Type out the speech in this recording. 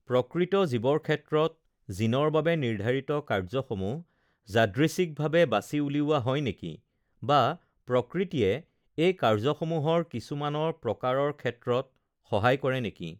প্ৰকৃত জীৱৰ ক্ষেত্ৰত জিনৰ বাবে নিৰ্ধাৰিত কাৰ্যসমূহ যাদৃচ্ছিকভাৱে বাছি উলিওৱা হয় নেকি? বা প্ৰকৃতিয়ে এই কাৰ্যসমূহৰ কিছুমানৰ প্ৰকাৰৰ ক্ষেত্ৰত সহায় কৰে নেকি?